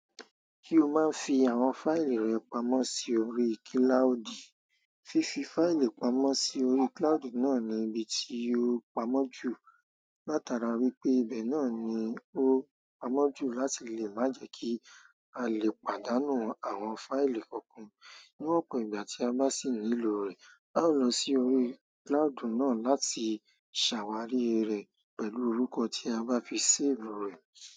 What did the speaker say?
Ṣé o máa ń fi àwọn fáìlì rẹ pamọ́ sí orí kílàudì. Fífi fáìlì pamọ́ sí orí kílàudì náà ni ibi tí yóò pamọ́ jù. Látara wípé ibẹ̀ náà ni ó pamọ́ jù láti lè má jẹ kí a lè pàdánù àwọn fáìlì kọ̀kan. Ní ọ̀pọ̀ ìgbà tí a bá sì nílò rẹ̀, a ó lọ sí orí kílàádì náà láti ṣàwárí rẹ̀ pẹ̀lú orúkọ tí a bá fi séèf rẹ̀.